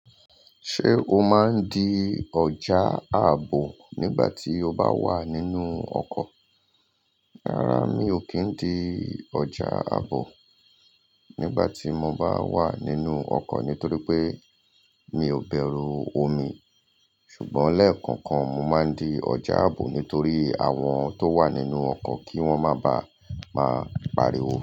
Ṣé o máa ń di ọjà àbò nígbà tí o bá wà nínú ọkọ̀? Rárá mi ò kí ń di ọjà àbò nígbà tí mo bá wà nínú ọkọ̀ nítorí pé mi ò bẹru omi. Ṣùgbọ́n lẹ́ẹ̀kọ̀kan, mo máa ń di ọjà àbò nítorí àwọn tó wà nínú ọkọ̀ kí wọ́n máa ba máa pariwo.